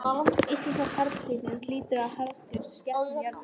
Íslenska karldýrið hlýtur að vera með harðgerðustu skepnum jarðar.